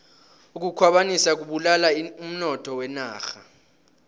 ukukhwabanisa kubulala umnotho wenarha